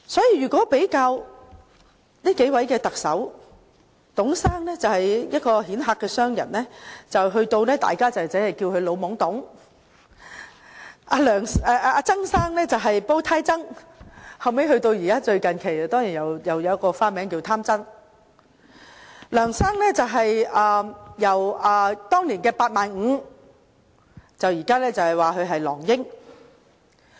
如果比較上述3位特首的外號，董先生身為一位顯赫商人，大家稱呼他為"老懵董"；曾先生的外號是"煲呔曾"，近期更多了一個外號，名為"貪曾"；梁先生的外號則由當年的"八萬五"變成今天的"狼英"。